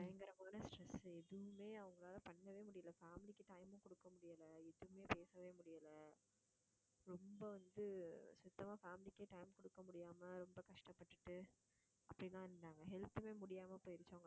பயங்கரமான stress எதுவுமே அவங்களால பண்ணவே முடியல. family க்கு time மும் குடுக்க முடியல. எதுவுமே பேசவே முடியல. ரொம்ப வந்து சுத்தமா family க்கே time கொடுக்க முடியாம ரொம்ப கஷ்டப்பட்டுட்டு அப்படி எல்லாம் இருந்தாங்க health மே முடியாம போயிருச்சு